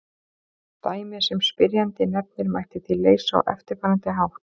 Dæmið sem spyrjandi nefnir mætti því leysa á eftirfarandi hátt.